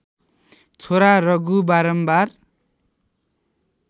छोरा रघु बारम्बार